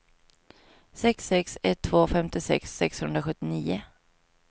sex sex ett två femtiosex sexhundrasjuttionio